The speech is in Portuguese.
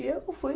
E eu fui...